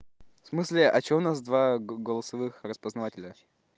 в смысле а чего у нас два голосовых распознавателя